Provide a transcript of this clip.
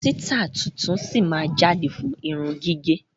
Àwọn sitai tuntun sí máa jáde fún irun gígẹ̀.